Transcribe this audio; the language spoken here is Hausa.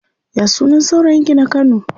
Ya sunan saurayin ki na kano?